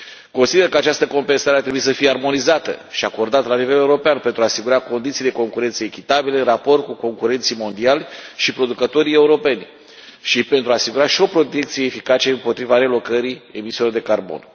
Consider că această compensare ar trebui să fie armonizată și acordată la nivel european pentru a asigura condiții de concurență echitabile în raport cu concurenții mondiali și producătorii europeni, și pentru a asigura și o protecție eficace împotriva relocării emisiilor de carbon.